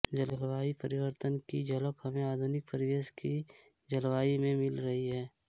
जलवायु परिवर्तन की झलक हमें आधुनिक परिवेश की जलवायु में मिल रही है